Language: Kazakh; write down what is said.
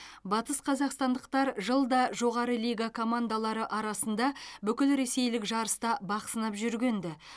батысқазақстандықтар жылда жоғары лига командалары арасында бүкілресейлік жарыста бақ сынап жүрген ді